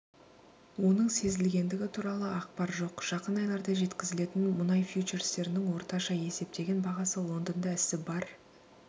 оның сезілгендігі туралы ақпар жоқ жақын айларда жеткізілетін мұнай фьючерстерінің орташа есептеген бағасы лондонда ісі барр